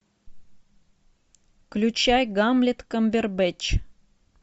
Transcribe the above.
включай гамлет камбербэтч